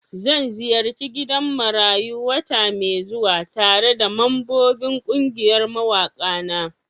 Zan ziyarci gidan marayu wata mai zuwa tare da mambobin kungiyar mawaka na.